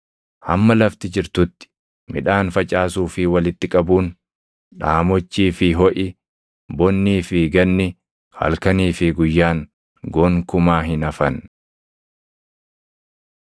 “Hamma lafti jirtutti, midhaan facaasuu fi walitti qabuun, dhaamochii fi hoʼi, bonnii fi ganni, halkanii fi guyyaan gonkumaa hin hafan.”